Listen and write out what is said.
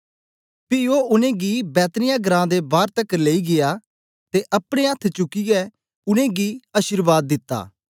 पी ओ उनेंगी बैतनिय्याह घरां दे बार तकर लेई गीया ते अपने अथ्थ चुकियै उनेंगी अशीर्वाद दिती